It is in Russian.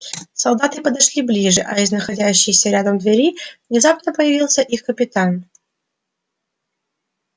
солдаты подошли ближе а из находящейся рядом двери внезапно появился их капитан